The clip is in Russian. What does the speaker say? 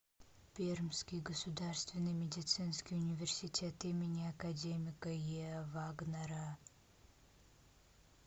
пермский государственный медицинский университет им академика еа вагнера